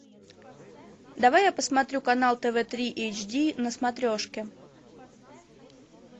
давай я посмотрю канал тв три эйч ди на смотрешке